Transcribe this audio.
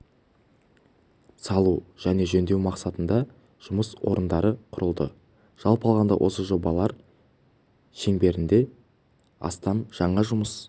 салу және жөндеу мақсатында жұмыс орындары құрылды жалпы алғанда осы жобалар шеңберінде астам жаңа жұмыс